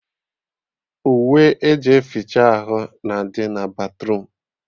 Uwe eji eficha ahụ na-adị na batruum